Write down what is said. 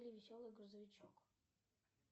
веселый грузовичок